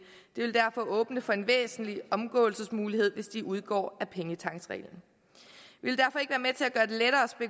det vil derfor åbne for en væsentlig omgåelsesmulighed hvis de udgår af pengetanksreglen vi